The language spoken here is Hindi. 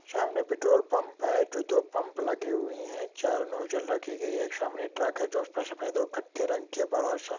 सामने पेट्रोल पाम्प हे जो दो पाम्प लगी हुई हे चार नोजेल रखी गई हे एक सामने ट्राक हे जो स्--सफेद कत्थे रंगके बरासा--